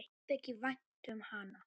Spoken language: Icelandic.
Mér þykir vænt um hana.